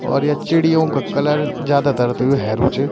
और या चिड़ियों का कलर जादातर त यु हेरू च।